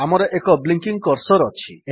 ଆମର ଏକ blinking cursor ଅଛି